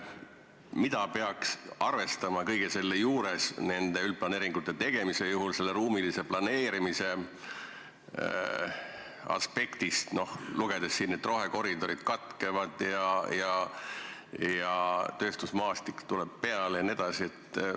Mida peaks arvestama nende üldplaneeringute tegemise puhul ruumilise planeerimise aspektist, lugedes siit, et rohekoridorid katkevad, tööstusmaastik tuleb peale jne?